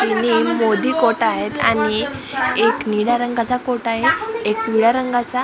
तिन्ही मोदी कोटा आहेत आणि एक निळ्या रंगाचा कोटा आहे एक पिवळ्या रंगाचा आणि --